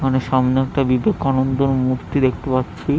আমার সামনে একটা বিবেকানন্দের মূর্তি দেখতে পাচ্ছি।